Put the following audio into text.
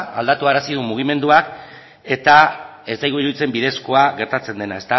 aldatuarazi duen mugimenduak eta ez zaigu iruditzen bidezkoa gertatzen dena